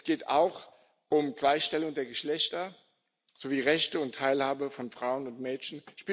Es geht auch um Gleichstellung der Geschlechter sowie Rechte und Teilhabe von Frauen und Mädchen.